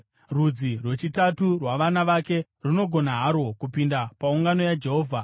Rudzi rwechitatu rwavana vake runogona harwo kupinda paungano yaJehovha.